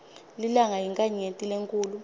lilanga yinkhanyeti lenkhulu